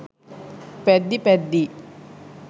පැද්දී පැද්දී